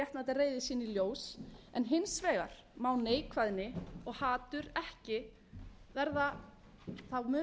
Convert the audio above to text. reiði sína í ljós en hins vegar má neikvæðni og hatur ekki mun það ekki verða til þess að